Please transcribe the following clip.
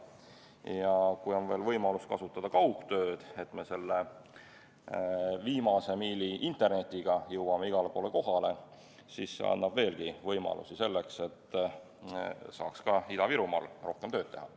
Ja kui on võimalus kasutada ka kaugtööd, kui me selle viimase miili internetiga igale poole kohale jõuame, siis see annab veelgi võimalusi, et ka Ida-Virumaal saaks rohkem tööd teha.